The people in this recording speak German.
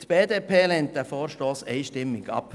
Die BDP-Fraktion weist diesen Vorstoss einstimmig ab.